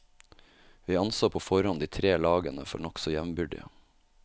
Vi anså på forhånd de tre lagene for nokså jevnbyrdige.